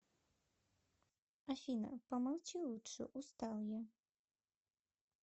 афина помолчи лучше устал я